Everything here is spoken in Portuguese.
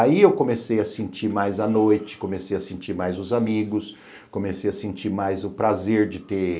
Aí eu comecei a sentir mais a noite, comecei a sentir mais os amigos, comecei a sentir mais o prazer de ter